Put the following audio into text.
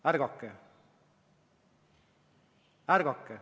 Ärgake!